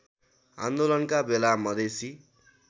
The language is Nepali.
आन्दोलनका बेला मधेसी